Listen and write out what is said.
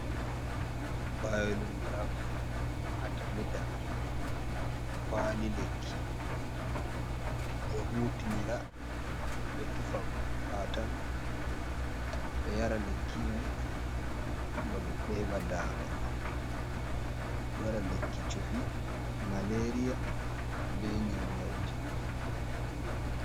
Bayo lumirav Atiimita, kwali lekki ɓe do hutinira ɓe tuffa baatal ɓe yaara lekki heɓa daama be waɗa lekki chufii maleeriya be nyau nyauujii.